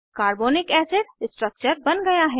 carbonic acid structure बन गया है